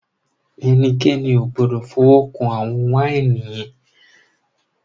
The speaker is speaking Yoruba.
Ẹnikẹ́ni ò gbọ́dọ̀ fọwọ́ kàn àwọn wáìnì yẹn!